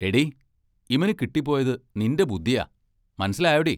എടീ, ഇമനു കിട്ടിപ്പോയത് നിന്റെ ബുദ്ദിയാ മനസ്സിലായോടീ?